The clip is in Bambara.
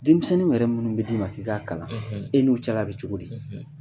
Denmisɛnnin yɛrɛ minnu bɛ d'i ma k'i k'a kalan e ni o cɛla bɛ cogo di.